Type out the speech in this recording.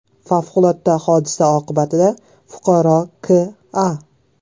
Favqulodda hodisa oqibatida fuqaro K.A.